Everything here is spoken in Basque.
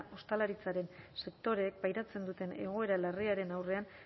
ostalaritzaren sektoreek pairatzen duten egoera larriaren aurrean